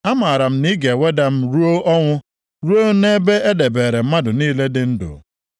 Amara m na ị ga-eweda m ruo ọnwụ; ruo nʼebe e debeere mmadụ niile dị ndụ.